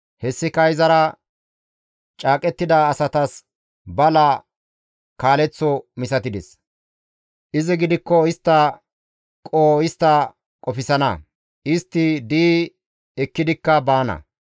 Hessika izara caaqettida asatas bala kaaleththo misatides. Izi gidikko istta qoho istta qofsana; istti di7i ekkidikka baana.